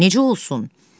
Necə olsun?